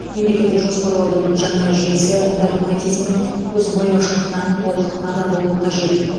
мемлекеттік жоспарлаудың жаңа жүйесі догматизм мен көзбояушылықтан толық ада болуы қажет